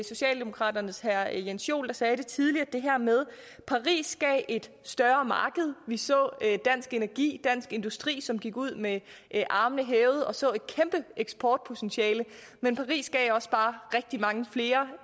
socialdemokraternes herre jens joel der sagde det tidligere altså det her med at paris gav et større marked vi så dansk energi dansk industri som gik ud med armene hævede og så et kæmpe eksportpotentiale men paris gav også bare rigtig mange flere